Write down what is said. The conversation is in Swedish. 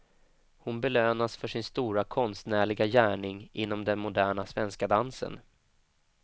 Hon belönas för sin stora konstnärliga gärning inom den moderna svenska dansen.